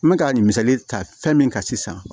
N bɛ ka misali ta fɛn min kan sisan